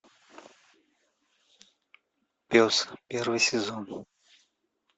пес первый сезон